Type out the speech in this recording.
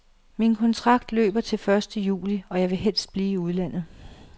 Min kontrakt løber til den første juli, og jeg vil helst blive i udlandet.